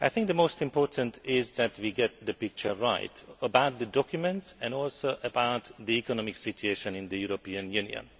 The most important thing is that we get the picture right, both about the documents and also about the economic situation in the European Union.